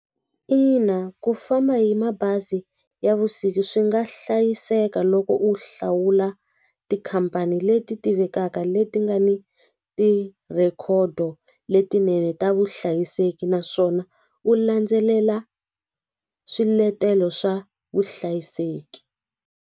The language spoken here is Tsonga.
Ina ku famba hi mabazi ya vusiku swi nga hlayiseka loko u hlawula tikhampani leti tivekaka leti nga ni tirhikhodo letinene ta vuhlayiseki naswona u landzelela swiletelo swa vuhlayiseki.